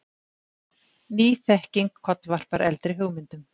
Ný þekking kollvarpar eldri hugmyndum.